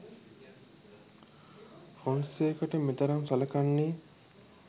ෆොන්සේකට මෙතරම් සලකන්නේ?